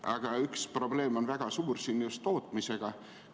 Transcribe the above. Aga on üks väga suur probleem just tootmisega seoses.